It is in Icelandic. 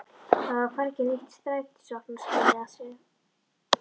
Það var hvergi neitt strætisvagnaskýli að sjá.